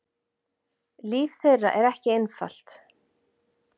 Líf þeirra er ekki einfalt!